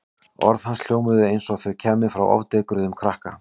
Orð hans hljómuðu eins og þau kæmu frá ofdekruðum krakka.